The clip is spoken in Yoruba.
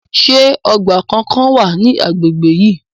Ṣé ọgbà kankan wà ní agbègbè yín?